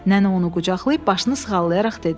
Nənə onu qucaqlayıb başını sığallayaraq dedi: